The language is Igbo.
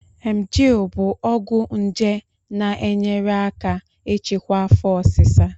Emgyl bụ ọgwụ nje na-enyere aka ịchịkwa afo osisa